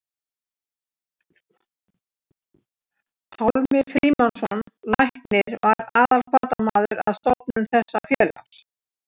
Pálmi Frímannsson læknir var aðalhvatamaður að stofnun þessa félags.